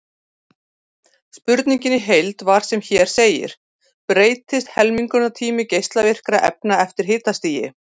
Spurningin í heild var sem hér segir: Breytist helmingunartími geislavirkra efna eftir hitastigi?